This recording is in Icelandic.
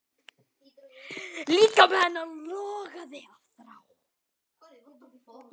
Líkami hennar logaði af þrá.